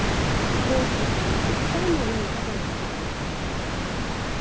все просто же там же самое элементарно просто